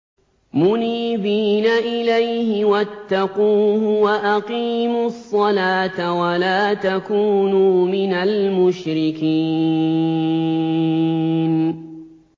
۞ مُنِيبِينَ إِلَيْهِ وَاتَّقُوهُ وَأَقِيمُوا الصَّلَاةَ وَلَا تَكُونُوا مِنَ الْمُشْرِكِينَ